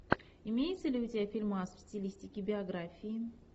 имеется ли у тебя фильмас в стилистике биографии